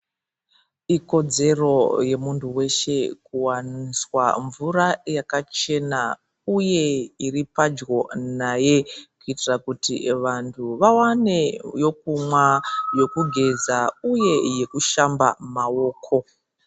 Ikodzero yemuntu weshe kuwaniswa mvura yakachena uye iripadyo naye kuitira kuti vantu vawane yekumwa ,yekugeza uye yekushamba maoko.